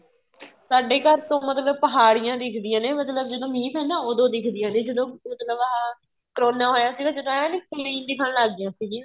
ਸਾਡੇ ਘਰ ਤੋਂ ਮਤਲਬ ਤੋ ਪਹਾੜੀਆਂ ਦਿਖਦਿਆਂ ਨੇ ਮਤਲਬ ਜਦੋਂ ਮੀਹ ਪੈਂਦਾ ਏ ਉਦੋ ਦਿਖਦੀਆਂ ਨੇ ਜਦੋਂ ਕਰੋਨਾ ਹੋਇਆ ਸੀ ਨਾ ਜਦ ਆਇਆ ਨਹੀਂ ਸੀ clean ਦਿਖਣ ਲੱਗ ਗਈਆਂ ਸੀਗੀਆਂ